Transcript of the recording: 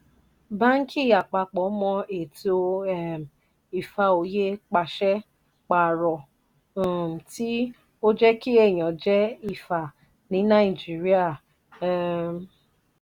banki àpapọ̀ mọ eto um ifá òye pàṣẹ paro um tí oje kí ẹ̀yán je ifá ní naijiria. um